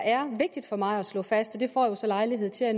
er vigtigt for mig at slå fast og det får jeg så lejlighed til at